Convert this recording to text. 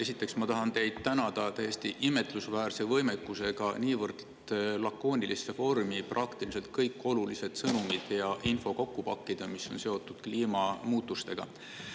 Esiteks tahan ma teid tänada teie täiesti imetlusväärse võimekuse eest panna niivõrd lakoonilisse vormi kokku praktiliselt kõik olulised sõnumid ja info, mis on seotud kliimamuutustega.